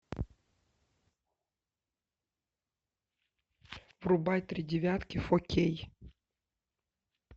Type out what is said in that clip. врубай три девятки фо кей